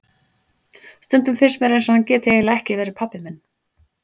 Stundum finnst mér eins og hann geti eiginlega ekki verið pabbi minn.